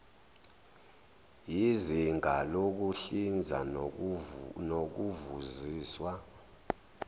yizinga lokuhlinza nokuvuziswa